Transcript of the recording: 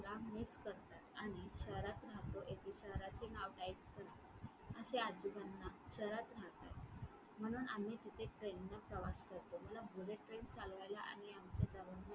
ते म्हणाले मला miss करतात आणि शहरात राहतो आणि शहराचे नाव असे आजोबाना शहरात राहतात म्हणून आम्ही तिथे train ने प्रवास करतो. मला bullet train चालवायला आणि